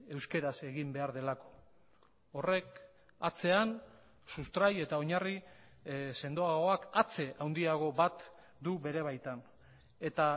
euskaraz egin behar delako horrek atzean sustrai eta oinarri sendoagoak atze handiago bat du bere baitan eta